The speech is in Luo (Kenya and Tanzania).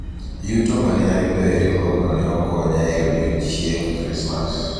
yuto mane ayudo e riwruogno ne okonya e odiochieng krismas